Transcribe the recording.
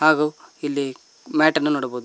ಹಾಗು ಇಲ್ಲಿ ಮ್ಯಾಟ್ ಅನ್ನು ನೋಡಬೋದು.